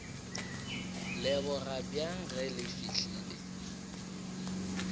leboga bjang ge le fihlile